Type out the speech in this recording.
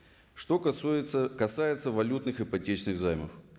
что касается валютных ипотечных займов